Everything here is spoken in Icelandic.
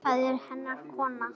Það eru hennar konur.